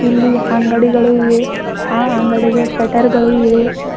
ಇಲ್ಲಿ ಅಂಗಡಿಗಳು ಇವೆ ಆ ಅಂಗಡಿಗೆ ಶಟರ್ಗಳು ಇವೆ.